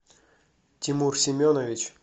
тимур семенович